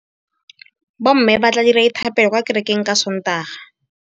Bommê ba tla dira dithapêlô kwa kerekeng ka Sontaga.